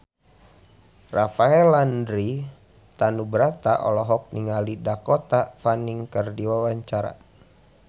Rafael Landry Tanubrata olohok ningali Dakota Fanning keur diwawancara